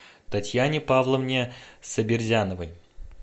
татьяне павловне сабирзяновой